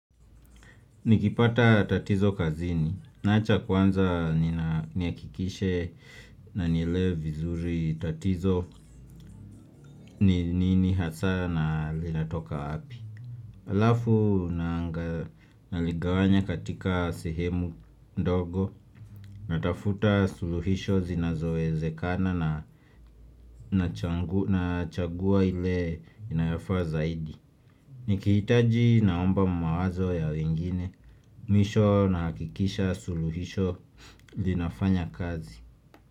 Nikipata tatizo kazini, naacha kwanza nihakikishe na nielewe vizuri tatizo ni nini hasa na linatoka wapi Alafu naligawanya katika sehemu ndogo, natafuta suluhisho zinazowezekana na chagua ile inayafaa zaidi Nikihitaji naomba mawazo ya wengine, mwisho na hakikisha suluhisho linafanya kazi.